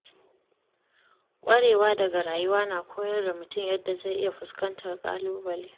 Kwarewa daga rayuwa na koyar da mutum yadda zai iya fuskantar ƙalubale.